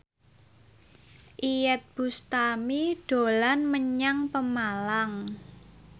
Iyeth Bustami dolan menyang Pemalang